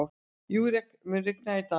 Júrek, mun rigna í dag?